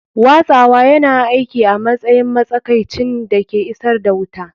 Watsawa yana aiki a matsayin matsakaicin da ke isar da wuta.